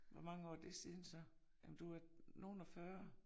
Hvor mange år er det siden så? Jamen du er nogle og fyrre